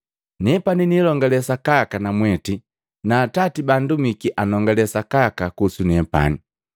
Nepani nililongale sakaka namwete na Atati baandumiki anongalee sakaka kuhusu nepani.”